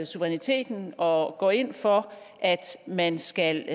suveræniteten og går ind for at man skal